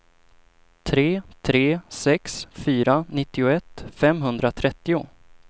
tre tre sex fyra nittioett femhundratrettio